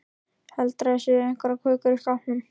Heldurðu að það séu til einhverjar kökur í skápnum?